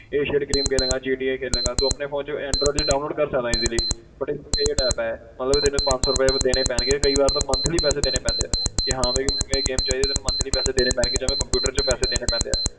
Asian game ਖੇਡੇਂਗਾ GTA ਖੇਡੇਂਗਾ ਤੂੰ ਆਪਣੇ phone 'ਚ android 'ਚ download ਕਰ ਸਕਦਾਂ easly but paid app ਹੈ ਮਤਲਬ ਤੈਨੂੰ ਪੰਜ ਸੌ ਰੁਪਏ ਦੇਣੇ ਪੈਣਗੇ ਕਈ ਵਾਰ ਤਾਂ monthly ਪੈਸੇ ਦੇਣੇ ਪੈਂਦੇ ਹੈ ਕਿ ਹਾਂ ਵੀ ਮੈਨੂੰ ਇਹ game ਚਾਹੀਦੀ ਤੈਨੂੰ monthly ਪੈਸੇ ਦੇਣੇ ਪੈਣਗੇ ਜਿਵੇਂ computer 'ਚ ਪੈਸੇ ਦੇਣੇ ਪੈਂਦੇ ਆ,